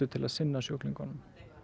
til að sinna sjúklingunum